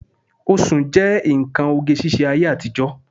Oṣùn jẹ́ nǹkan oge ṣíṣe ayé àtijọ́